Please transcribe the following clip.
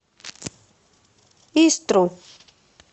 истру